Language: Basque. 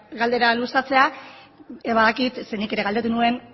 galdera luzatzea badakit ze nik ere galdetu nuen